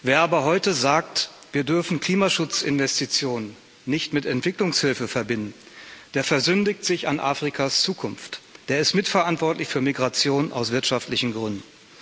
Wer aber heute sagt, wir dürfen Klimaschutzinvestitionen nicht mit Entwicklungshilfe verbinden, der versündigt sich an Afrikas Zukunft, der ist mitverantwortlich für Migration aus wirtschaftlichen Gründen.